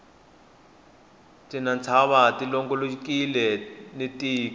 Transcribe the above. tinytshava ti longolokile ni tiko